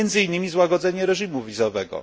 Między innymi złagodzenie reżimu wizowego.